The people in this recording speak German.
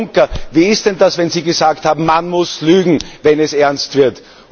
Herr Juncker, wie ist denn das, wenn Sie gesagt haben Man muss lügen, wenn es ernst wird?